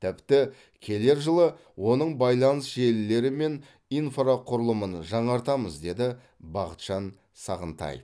тіпті келер жылы оның байланыс желілері мен инфрақұрылымын жаңартамыз деді бақытжан сағынтаев